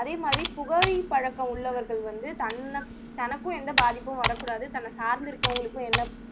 அதே மாதிரி புகை பழக்கம் உள்ளவர்கள் வந்து தன்ன தனக்கும் எந்த பாதிப்பும் வரக்கூடாது தன்னை சார்ந்து இருக்கிறவங்களுக்கு எந்த